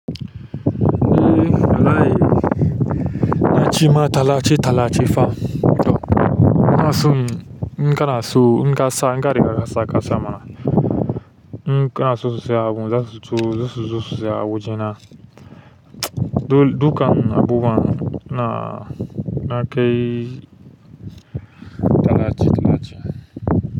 Eh, wallahi na cimma talace-talace fa. To, inason, in kana so, in kasa in ka kare ka sa mana. In kana so su saye abin zasu turo su saye a wajena dukan abubuwan na, na kai talace-talace.